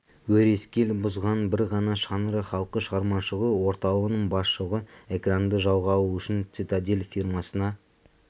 өрескел бұзған бір ғана шаңырақ халық шығармашылығы орталығының басшылығы экранды жалға алу үшін цитадель фирмасына